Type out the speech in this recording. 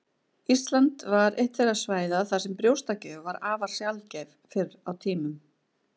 Ísland var eitt þeirra svæða þar sem brjóstagjöf var afar sjaldgæf fyrr á tímum.